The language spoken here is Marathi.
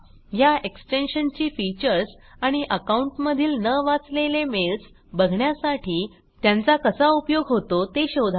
ह्या एक्सटेन्शन ची फीचर्स आणि अकाऊंटमधील न वाचलेले मेल्स बघण्यासाठी त्यांचा कसा उपयोग होतो ते शोधा